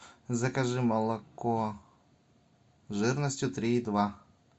закажи молоко жирностью три и два